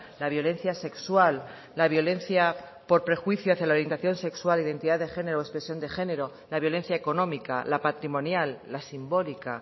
la violencia sexual la violencia por prejuicio hacia la orientación sexual identidad de género o expresión de género la violencia económica la patrimonial la simbólica